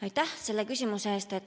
Aitäh selle küsimuse eest!